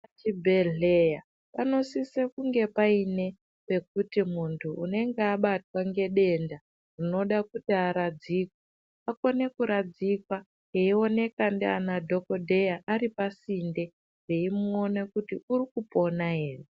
Pazvibhedhleya panosise kunge payine pekuti muntu unenge abatwa ngedenda unoda kuti aradzikwe. Akone kuradzikwa eyiwonekwa nadhokodhera aripasinde vayimuwona kuti urikupona here.